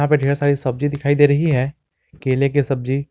यहां पे ढेर सारी सब्जी दिखाई दे रही है केले की सब्जी।